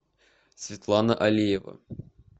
светлана алиева